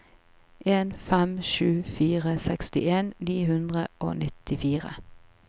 en fem sju fire sekstien ni hundre og nittifire